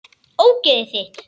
Ógeðið þitt!!